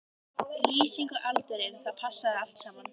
Lýsingin og aldurinn, það passaði allt saman.